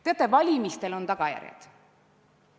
Teate, valimistel on tagajärjed.